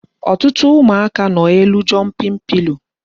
Ọtụtụ ụmụaka nọ n'elu jumping pillow